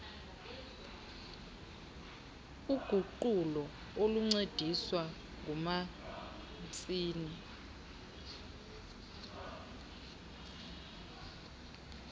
uguqulo oluncediswa ngumatshini